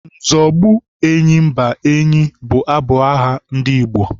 Nzọgbu enyimba enyi bụ abụ agha ndị Igbo.